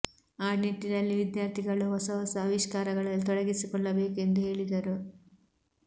ಆ ನಿಟ್ಟಿನಲ್ಲಿ ವಿದ್ಯಾರ್ಥಿಗಳು ಹೊಸ ಹೊಸ ಅವಿಷ್ಕಾರಗಳಲ್ಲಿ ತೊಡಗಿಸಿಕೊಳ್ಳಬೇಕು ಎಂದು ಹೇಳಿದರು